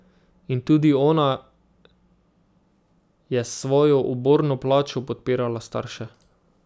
In tudi ona je s svojo uborno plačo podpirala starše.